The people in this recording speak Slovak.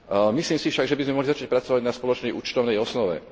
Domnievam sa však, že by sme mohli začať pracovať na spoločnej účtovnej osnove.